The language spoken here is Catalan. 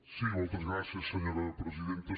sí moltes gràcies senyora presidenta